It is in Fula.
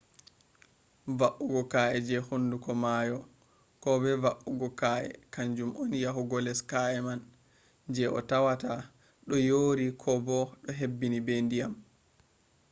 va’ugo ka’e je hunduko maayo ko bo va’ugo ka’e kanjum on yahugo les ka’e man je a tawata do yori ko bo do hebbini be dyam